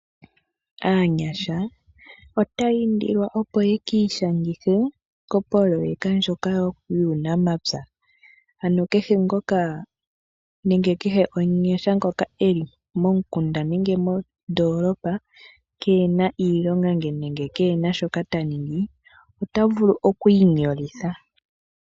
Aanyasha otaya indilwa opo ya ki ishangithe kopoloyeka ndjoka yuunamapya. Ano kehe omunyasha ngoka eli momukunda nenge eli mondolopa kena iilomga nenge kena shoka ta ningi, ota vulu oku inyolitha.